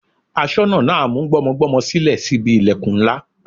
Aṣọ́nà náà mú gbọ́mọgbọ́mọ sílẹ̀ sí ibi ìlẹ̀kùn ńlá.